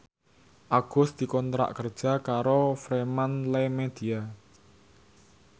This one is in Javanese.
Agus dikontrak kerja karo Fremantlemedia